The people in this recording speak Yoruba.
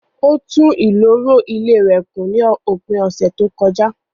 Ó tún ìloro ilé rẹ̀ kùn ní òpin ọ̀sẹ̀ tí ó kọjá